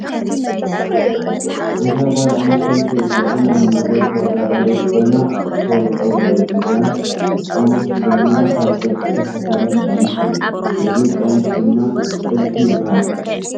እዛ ጋል ኣነስተይቲ እዚኣ ናይ ሞዲየል ተወዳደሪት ኮይና እተፋልጦ ዘለ ቆሙሽ ድማ ካብ ጡጥ ዝተፈተለ ቆሙሽ እዩ። እዚ ቆሙሽ ድማ ጥልፊ ይባሃል።